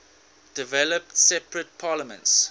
developed separate parliaments